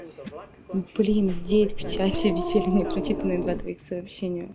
блин здесь в чате висели непрочитанное два твоих сообщения